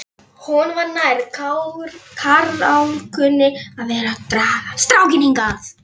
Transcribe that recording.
Honum var nær, karlálkunni, að vera að draga strákinn hingað